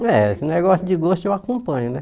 É, esse negócio de gosto eu acompanho, né?